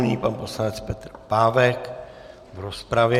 Nyní pan poslanec Petr Pávek v rozpravě.